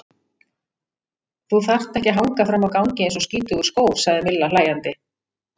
Þú þarft ekki að hanga frammi á gangi eins og skítugur skór, sagði Milla hlæjandi.